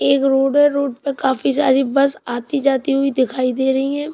एक रोड है रोड पर काफी सारी बस आती जाती हुई दिखाई दे रही हैं।